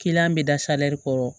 bɛ da kɔrɔ